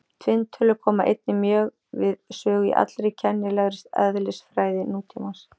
Tvinntölur koma einnig mjög við sögu í allri kennilegri eðlisfræði nútímans.